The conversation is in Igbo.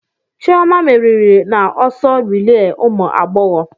Chioma merìrì na ọsọ rilee ụmụ agbọghọ.